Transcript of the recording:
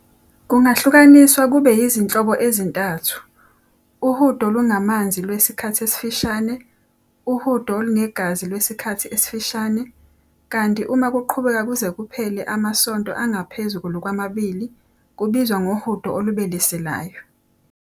Kungahlukaniswa kube yizinhlobo ezintathu- uhudo olungamanzi lwesikhathi esifishane, uhudo olunegazi lwesikhathi esifishane, kanti uma kuqhubeka kuze kuphele amasonto angaphezulu kwamabili, kubizwa ngohudo olubeleselayo.